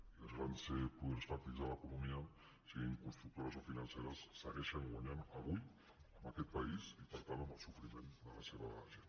i els grans poders fàctics de l’economia siguin constructores o financeres segueixen guanyant avui amb aquest país i per tant amb el sofriment de la seva gent